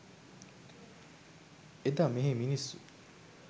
එදා මෙහෙ මිනිස්සු